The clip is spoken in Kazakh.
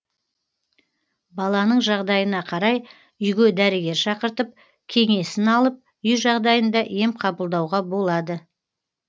баланың жағдайына қарай үйге дәрігер шақыртып кеңесін алып үй жағдайында ем қабылдауға болады